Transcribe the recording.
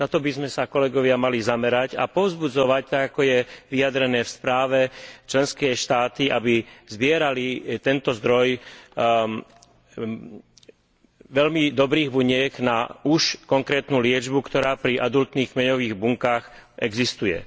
Na to by sme sa, kolegovia, mali zamerať a povzbudzovať tak, ako je vyjadrené v správe členské štáty, aby zbierali tento zdroj veľmi dobrých buniek na už konkrétnu liečbu, ktorá pri adultných kmeňových bunkách existuje.